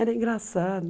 Era engraçado.